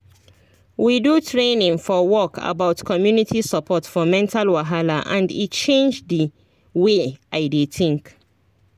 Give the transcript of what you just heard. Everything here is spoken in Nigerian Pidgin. we do training for work about community support for mental wahala and e change the way i dey think